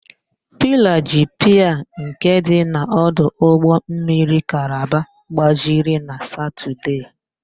Pilaa ji piia nke dị n' ọdụ ụgbọmmiri Kalaba gbajiri na Satọdee.